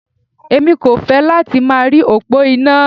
Èmi kò fẹ́ láti máa rí òpó iná.